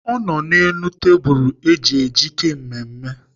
Ọ nọrọ n'elu tebụl eji ejike mmemme.